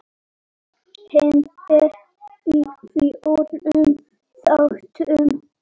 Hann er í fjórum þáttum.